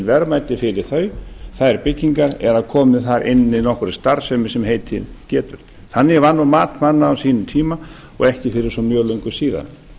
verðmæti fyrir þær byggingar eða komið þar inn með nokkra starfsemi sem heitið getur þannig var nú mat manna á sínum tíma og ekki fyrir svo mjög löngu síðan